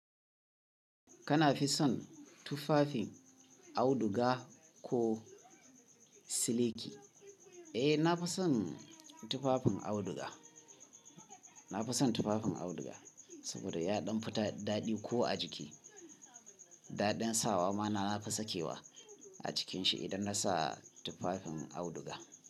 Kana fi son tufafin auduga ko siliki? Eh, na fi son tufafin auduga. Na fi son tufafin auduga saboda ya ɗan fi daɗi ko a jiki. Daɗin sawa ma na fi sakewa a cikinshi idan na sa tufafin auduga.